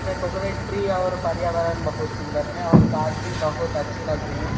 इसमे coconut tree और पर्यावरण बहुत सुंदर है और घास भी बहुत अच्छी लग रही हू।